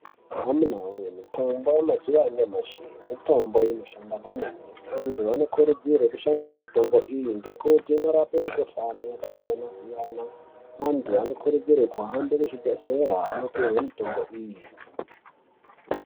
Amunaa wee mitombo yemazuwa anyamashi mitombo inoshanda kwemene. Antu anokurudzirwa kushandisa mitombo iyi ngekuti inorapa mikhuhlani yaasiyana-siyana. Antu anokurudzirwa kuhambe kuzvibhedhlera onopiwa mitombo iyi.